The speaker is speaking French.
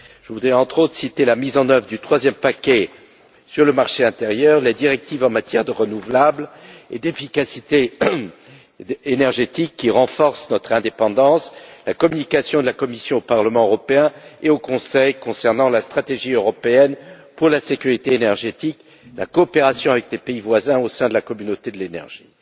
Je voudrais, entre autres, citer la mise en œuvre du troisième paquet sur le marché intérieur, les directives en matière d'énergies renouvelables et d'efficacité énergétique, qui renforcent notre indépendance, la communication de la Commission au Parlement européen et au Conseil concernant la stratégie européenne pour la sécurité énergétique, la coopération avec les pays voisins au sein de la communauté de l'énergie.